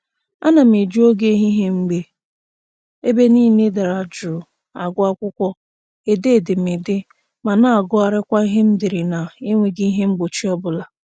Ana m eji oge ehihie mgbe ebe niile dara jụụ agụ akwụkwọ, ede edemede, ma na-agụgharịkwa ihe m dere na-enweghị ihe mgbochi ọbụla